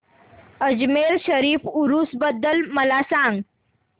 अजमेर शरीफ उरूस बद्दल मला सांग